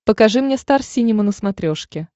покажи мне стар синема на смотрешке